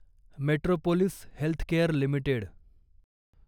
metropolis Healthcare limited